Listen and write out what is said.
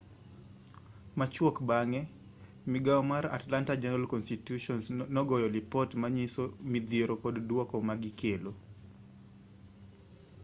machuok bang'e migao mar atlanta journal-constitution nogoyo lipot manyiso midhiero kod duoko magikelo